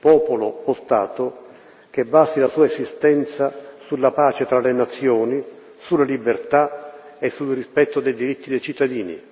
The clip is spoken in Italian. popolo o Stato che basi la sua esistenza sulla pace tra le nazioni, sulle libertà e sul rispetto dei diritti dei cittadini.